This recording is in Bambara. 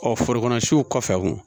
Ɔ foro kɔnɔ siw kɔfɛ